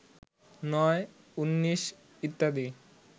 ৯, ১৯ ইত্যাদি